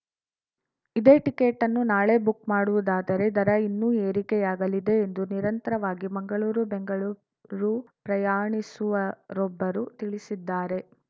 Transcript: ಇದೇ ಟಿಕೆಟ್‌ನ್ನು ನಾಳೆ ಬುಕ್‌ ಮಾಡುವುದಾದರೆ ದರ ಇನ್ನೂ ಏರಿಕೆಯಾಗಲಿದೆ ಎಂದು ನಿರಂತರವಾಗಿ ಮಂಗಳೂರು ಬೆಂಗಳೂರು ಪ್ರಯಾಣಿಸುವರೊಬ್ಬರು ತಿಳಿಸಿದ್ದಾರೆ